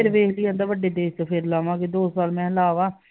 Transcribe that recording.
ਵੇਖਦੀ ਆ ਵੱਡੇ ਦੇਸ ਚ ਫਿਰ ਲਾਵਾਂਗੇ ਦੋ ਸਾਲ ਮੈਂ ਲਾਵਾ